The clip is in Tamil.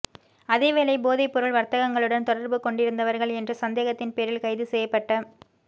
அதேவேளை போதைப் பொருள் வர்த்தகர்களுடன் தொடர்பு கொண்டிருந்தவர்கள் என்ற சந்தேகத்தின் பேரில் கைது செய்யப்பட்ட